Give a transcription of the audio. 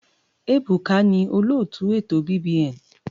Ebuka ni olóòtú ètò BBN.